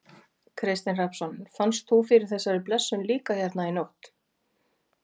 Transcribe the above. Kristinn Hrafnsson: Fannst þú fyrir þessari blessun líka hérna í nótt?